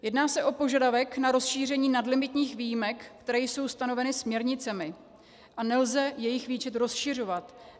Jedná se o požadavek na rozšíření nadlimitních výjimek, které jsou stanoveny směrnicemi, a nelze jejich výčet rozšiřovat.